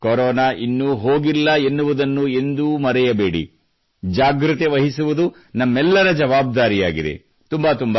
ಹಾಗೂ ಕೊರೋನಾ ಇನ್ನೂ ಹೋಗಿಲ್ಲ ಎನ್ನುವುದನ್ನು ಎಂದೂ ಮರೆಯಬೇಡಿ ಜಾಗ್ರತೆ ವಹಿಸುವುದು ನಮ್ಮೆಲ್ಲರ ಜವಾಬ್ದಾರಿಯಾಗಿದೆ